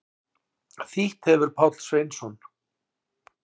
Þýtt hefir Páll Sveinsson.